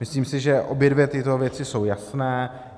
Myslím si, že obě dvě tyto věci jsou jasné.